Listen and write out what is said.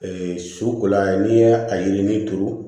su kola n'i ye a yirinin turu